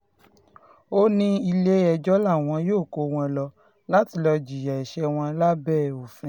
ó ní ilé-ẹjọ́ làwọn yóò kó wọn lọ láti lọ́ọ́ jìyà ẹ̀ṣẹ̀ wọn lábẹ́ òfin